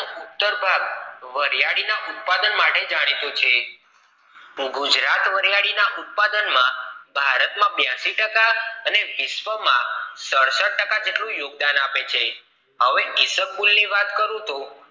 વરિયાળી ના ઉત્પાદન માટે જાણીતું છે ગુજરાત વરિયાળી ના ઉત્પાદન માં ભારત માં બાયશી ટકા અને વિશ્વ માં સડસાઠ ટકા જેટલું યોગદાન આપે છે હવે કેસરકુલ ની વાત કરું તો